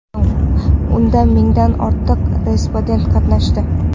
Unda mingdan ortiq respondent qatnashdi.